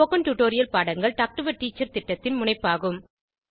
spoken tutorial பாடங்கள் talk to a teacher திட்டத்தின் முனைப்பாகும்